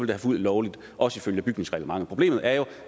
været fuldt lovligt også ifølge bygningsreglementet problemet er jo